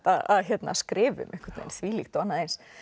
að skrifa um þvílíkt og annað eins